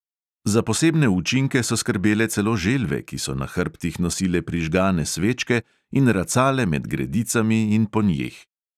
Za posebne učinke so skrbele celo želve, ki so na hrbtih nosile prižgane svečke in racale med gredicami in po njih.